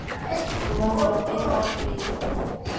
Þú verður að bera á þig í fyrramálið.